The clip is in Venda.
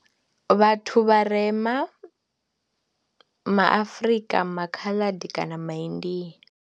Vhathu vharema ma Afrika, MA Khaladi kana MA India.